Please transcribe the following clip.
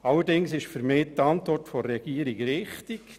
Allerdings ist für mich die Antwort der Regierung richtig: